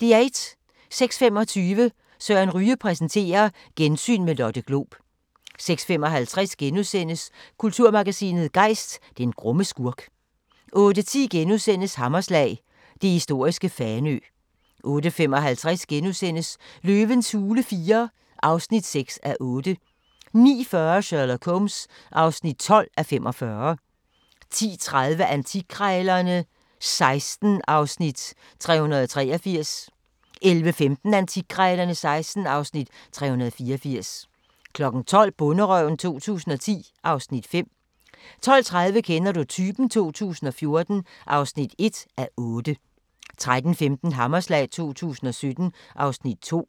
06:25: Søren Ryge præsenterer: Gensyn med Lotte Glob 06:55: Kulturmagasinet Gejst: Den grumme skurk * 08:10: Hammerslag – det historiske Fanø * 08:55: Løvens hule IV (6:8)* 09:40: Sherlock Holmes (12:45) 10:30: Antikkrejlerne XVI (Afs. 383) 11:15: Antikkrejlerne XVI (Afs. 384) 12:00: Bonderøven 2010 (Afs. 5) 12:30: Kender du typen? 2014 (1:8) 13:15: Hammerslag 2017 (Afs. 2)